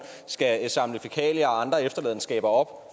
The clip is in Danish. skal samle fækalier og andre efterladenskaber op